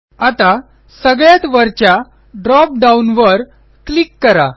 आता सगळ्यात वरच्या ड्रॉप डाउन वर क्लिक करा